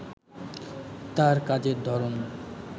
তার কাজের ধরন